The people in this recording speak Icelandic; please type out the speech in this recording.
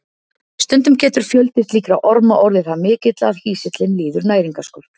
Stundum getur fjöldi slíkra orma orðið það mikill að hýsillinn líður næringarskort.